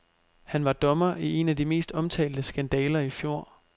Han var dommer i en af de mest omtalte skandaler i fjor.